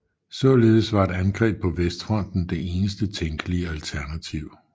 Således var et angreb på Vestfronten det eneste tænkelige alternativ